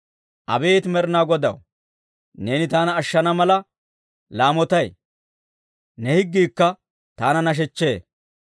Abeet Med'inaa Godaw, neeni taana ashshana mala laamotay; ne higgiikka taana nashechchee.